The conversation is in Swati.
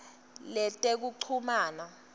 letekuchumana